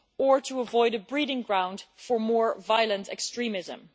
and to avoid a breeding ground for more violent extremism.